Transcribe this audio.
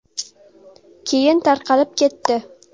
Keyin tarqalib ketdi.